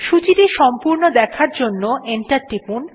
সূচীটা সম্পূর্ণ দেখার জন্য এন্টার টিপুন